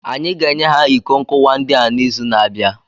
Anyị ga-enye ha iko nkuwa ndị a n'izu na-abịa